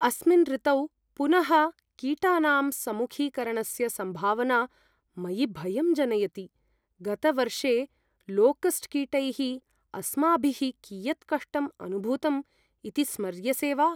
अस्मिन् ऋतौ पुनः कीटानां सम्मुखीकरणस्य सम्भावना मयि भयं जनयति। गतवर्षे लोकस्ट् कीटैः अस्माभिः कियत् कष्टम् अनुभूतम् इति स्मर्यसे वा?